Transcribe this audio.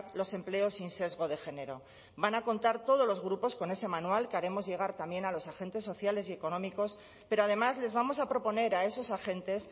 los empleos sin sesgo de género van a contar todos los grupos con ese manual que haremos llegar también a los agentes sociales y económicos pero además les vamos a proponer a esos agentes